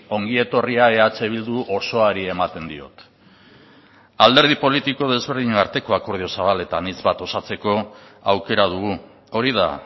ongi etorria eh bildu osoari ematen diot alderdi politiko ezberdinen arteko akordio zabal eta anitz bat osatzeko aukera dugu hori da